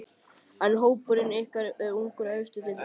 En er hópurinn ykkar of ungur fyrir efstu deildina?